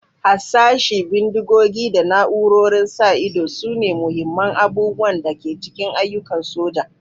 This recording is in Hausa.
Harsashi, bindigogi, da na'urorin sa ido sune muhimman abubuwan da ke cikin ayyukan soja.